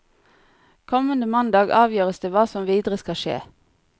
Kommende mandag avgjøres det hva som videre skal skje.